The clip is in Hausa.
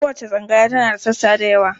Kowace tsangaya tana da sassa da yawa.